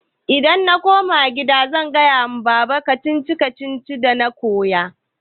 Idan na koma kida zan faɗa wa baba. kacici-kacicin dana koyo.